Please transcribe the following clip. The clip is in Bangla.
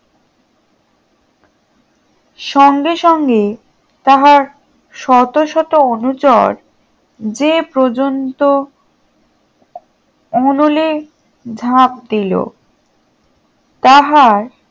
সঙ্গে সঙ্গে তাহার শত শত অনুচর যে পর্যন্ত অনলে ঝাঁপ দিল তাহার